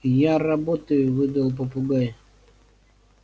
я работаю выдал попугай